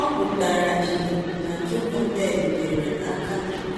Ọ pụtara ìhè na Jokebed nyere aka